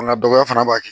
Fanga dɔgɔya fana b'a kɛ